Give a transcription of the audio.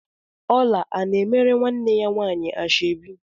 Ọla ana-emere nwanne ya nwaanyị ashọbi?